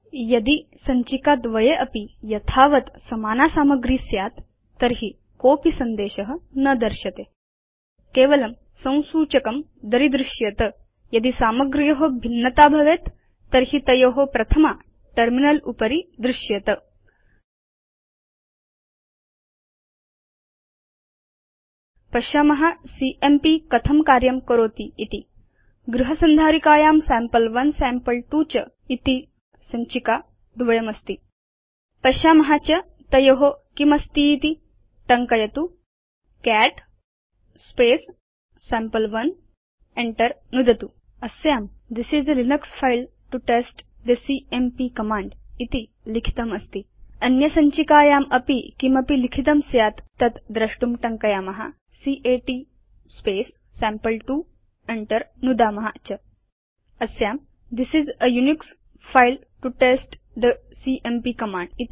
यदि सञ्चिका द्वये अपि यथावत् समाना सामग्री स्यात् तर्हि कोsपि सन्देश न दर्श्यते केवलं संसूचकं दरीदृश्येत यदि सामग्र्यो भिन्नता भवेत् तर्हि तयो प्रथमा टर्मिनल उपरि दृश्येत पश्याम सीएमपी कथं कार्यं करोति इति गृह संधारिकायां सैम्पल1 सैम्पल2 च सञ्चिका द्वयमस्ति पश्याम च तयो किमस्तीति160 टङ्कयतु कैट् सम्पे1 enter नुदतु च अस्यां this is a Linux file to test the CMP command इति लिखितमस्ति अन्य सञ्चिकायामपि किमपि लिखितं स्यात् तत् द्रष्टुं टङ्कयाम कैट् सैम्पल2 enter नुदाम च अस्यां this is a Unix file to test the CMP command